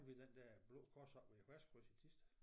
Ved den der Blå Kors oppe ved æ Hvasskryds i Thisted